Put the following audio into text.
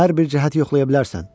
Hər bir cəhət yoxlaya bilərsən.